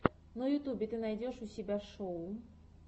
на ютюбе ты найдешь у себя шоу